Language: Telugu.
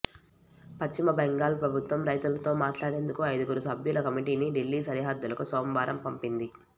పశ్చిమ బెంగాల్ ప్రభుత్వం రైతులతో మాట్లాడేందుకు ఐదుగురు సభ్యుల కమిటీని దిల్లీ సరిహద్దులకు సోమవారం పంపింది